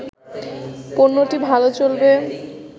পণ্যটি ভালো চলবে